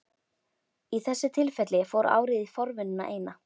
Í þessu tilfelli fór árið í forvinnuna eina.